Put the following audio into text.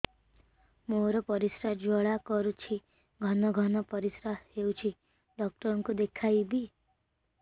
ମୋର ପରିଶ୍ରା ଜ୍ୱାଳା କରୁଛି ଘନ ଘନ ପରିଶ୍ରା ହେଉଛି ଡକ୍ଟର କୁ ଦେଖାଇବି